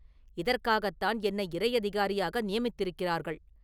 இதற்காகத்தான் என்னை இறை அதிகாரியாக நியமித்திருக்கிறார்கள்!